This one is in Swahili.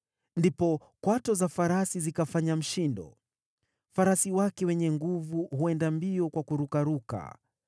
Ndipo kwato za farasi zikafanya mshindo: farasi wake wenye nguvu huenda mbio kwa kurukaruka.